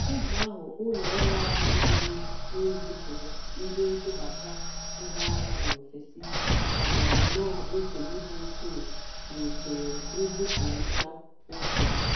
Oge ahụ ụlo-ọru ahụ gburu n'izipuru ndị ntụbata ngwa ahịa n'ofesi kpatara nnọ nsogbụ dị ukwuu n'usoro nzipụrita ego.